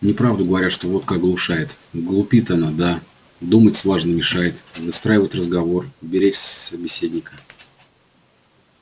неправду говорят что водка оглушает глупит она да думать слаженно мешает выстраивать разговор беречься собеседника